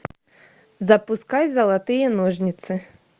запускай золотые ножницы